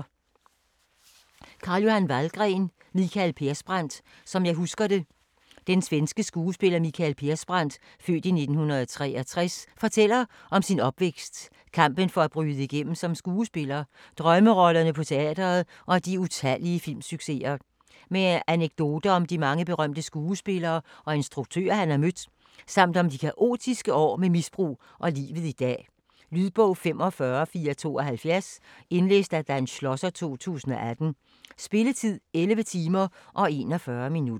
Vallgren, Carl-Johan: Mikael Persbrandt - som jeg husker det Den svenske skuespiller Mikael Persbrandt (f. 1963) fortæller om sin opvækst, kampen for at bryde igennem som skuespiller, drømmerollerne på teatret og de utallige filmsucceser. Med anekdoter om de mange berømte skuespillere og instruktører han har mødt, samt om de kaotiske år med misbrug og om livet i dag. Lydbog 45472 Indlæst af Dan Schlosser, 2018. Spilletid: 11 timer, 41 minutter.